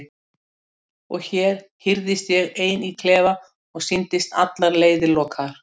Og hér hírðist ég ein í klefa og sýndist allar leiðir lokaðar.